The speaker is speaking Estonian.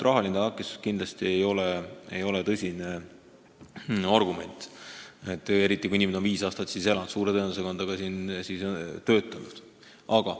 Rahaline takistus ei ole kindlasti ainus argument, eriti kui inimene on siin viis aastat elanud, sest suure tõenäosusega on ta siin siis ka töötanud.